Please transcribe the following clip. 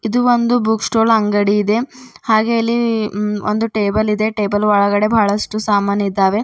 ಇದು ಒಂದು book stall ಅಂಗಡಿಯಿದೆ ಹಾಗೆ ಇಲ್ಲಿ ಟೇಬಲ್ ಇದೆ ಟೇಬಲ್ ಒಳಗಡೆ ಬಹಳಷ್ಟು ಸಾಮಾನ್ ಇದ್ದಾವೆ.